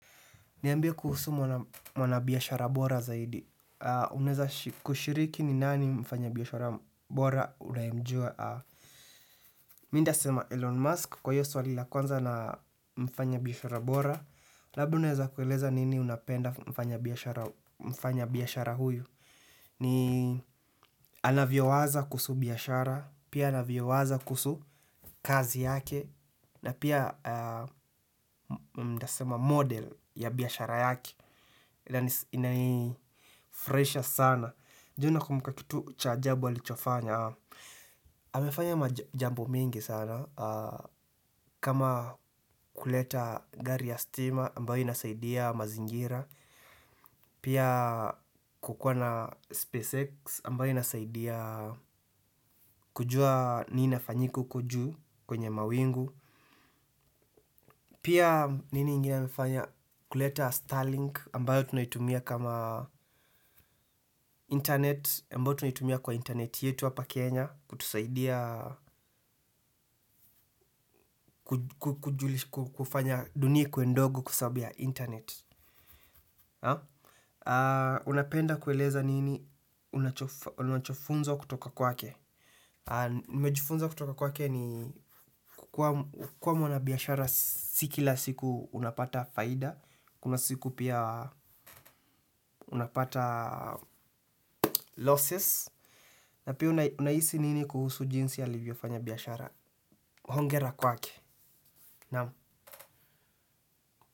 Niambie kuhusu mwana biyashara bora zaidi. Unaweza kushiriki ni nani mfanya biyashara bora unayemjua. Mi ndasema Elon Musk kwa hiyo swali la kwanza na mfanya biyashara bora. Labda unaweza kueleza nini unapenda mfanya biyashara huyu. Ni anavyowaza kuhusu biyashara, pia anavyowaza kuhusu kazi yake. Na pia ntasema model ya biashara yake. Inanifuraisha sana. Je unakumbuka kitu cha ajabu alichofanya amefanya majambo mingi sana. Kama kuleta gari ya stima ambayo inasaidia mazingira. Pia kukuwa na SpaceX ambayo inasaidia kujua nini inafanyika uko juu kwenye mawingu. Pia nini inginwe amefanya kuleta Starlink ambayo tunaitumia kama internet ambayo tunaitumia kwa internet yetu hapa Kenya kutusaidia kufanya dunia ikuwe ndogo kwa sababu ya internet. Unapenda kueleza nini unachofunzwa kutoka kwake. Nimejifunza kutoka kwake ni kuwa mwana biyashara si kila siku unapata faida. Kuna siku pia unapata losses. Na pia unahisi nini kuhusu jinsi alivyofanya biyashara. Hongera kwake. Naamu.